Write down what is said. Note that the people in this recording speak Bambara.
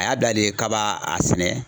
A y'a bila de k'a b'a a sɛnɛ.